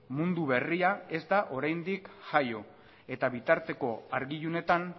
mundu berria ez da oraindik jaio eta bitarteko argi ilunetan